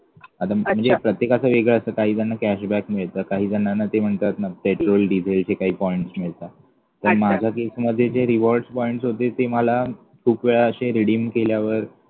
आता म्हणजे प्रत्येकाचं वेगळं असत काहीजण cashback मिळतात काही जणांना ते म्हणतात न petrol diesel जे काही points मिळता पण माझ्या case मध्ये जे rewards points होते ते मला खूप वेळा अशे redeem केल्यावर